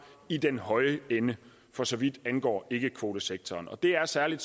i den høje ende for så vidt angår ikkekvotesektoren og det er særlig